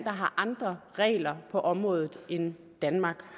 har andre regler på området end danmark